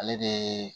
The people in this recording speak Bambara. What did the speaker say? Ale de